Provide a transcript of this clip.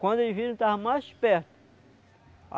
Quando eles viram, estava mais perto.